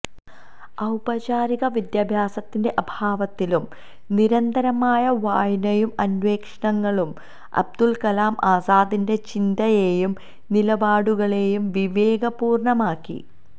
ഔപചാരിക വിദ്യാഭ്യാസത്തിന്റെ അഭാവത്തിലും നിരന്തരമായ വായനയും അന്വേഷണങ്ങളും അബുല്കലാം ആസാദിന്റെ ചിന്തയേയും നിലപാടുകളേയും വിവേകപൂര്ണമാക്കി